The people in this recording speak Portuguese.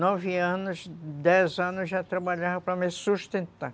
Com nove anos, dez anos já trabalhava para me sustentar.